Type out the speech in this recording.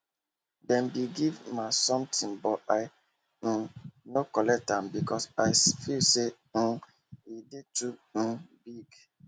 dem be give ma sometin but i um nor collect am becos i feel say um e dey too um big